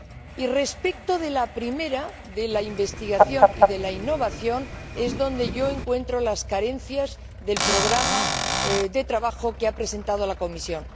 Y respecto de la primera la investigación e innovación es donde yo encuentro las carencias del programa de trabajo que ha presentado la Comisión.